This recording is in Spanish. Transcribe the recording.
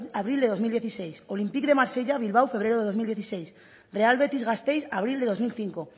abril del dos mil dieciséis olympique de marsella bilbao febrero del dos mil dieciséis real betis gasteiz abril del dos mil cinco